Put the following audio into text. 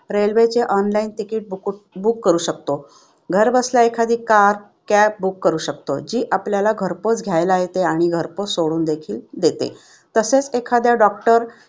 Railway चे online ticket book करू शकतो घरबसल्या एखादी car, cab करू शकतो, ती आपल्याला घरपोच घ्यायला येते आणि घरपोच सोडून देते. तसेच एखाद्या doctor किंवा